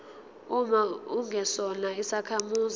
uma ungesona isakhamuzi